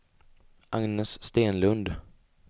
Agnes Stenlund